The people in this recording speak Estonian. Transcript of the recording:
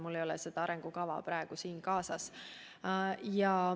Mul ei ole seda praegu kaasas.